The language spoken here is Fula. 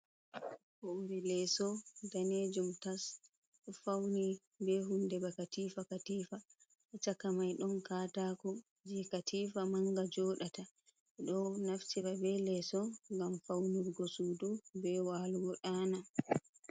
Hore leso danejum tas fauni be hunde bakatifa katifa a chaka mai don katako je katifa manga jodata e do naftira be leso gam faunurgo sudu be walugo dana.